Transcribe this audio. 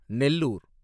Nellore